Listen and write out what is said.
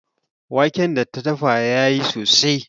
Wanken da ta dafa ya yi sosai.